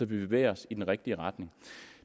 bevæger os i den rigtige retning